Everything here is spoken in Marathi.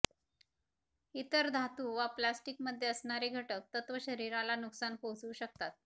इतर धातू वा प्लास्टिक मध्ये असणारे घटक तत्व शरीराला नुकसान पोहचवू शकतात